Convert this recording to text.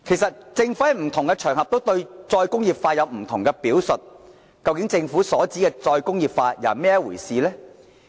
政府在不同場合對再工業化有不同的表述，究竟政府所指的再工業化是怎麼一回事呢？